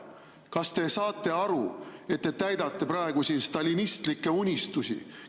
Kas te saate aru, et te täidate praegu stalinistlikke unistusi?